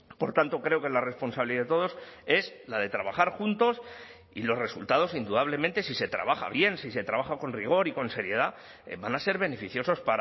por tanto creo que la responsabilidad de todos es la de trabajar juntos y los resultados indudablemente si se trabaja bien si se trabaja con rigor y con seriedad van a ser beneficiosos